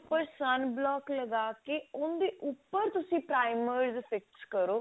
ਉੱਪਰ sun block ਲਗਾ ਕਿ ਉਹਦੇ ਉੱਪਰ ਤੁਸੀਂ primer fix ਕਰੋ